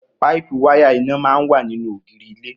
Páípù wáyà iná máa ń wà nínú ògiri ilé